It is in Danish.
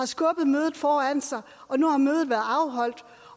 skubbet mødet foran sig og nu har mødet været afholdt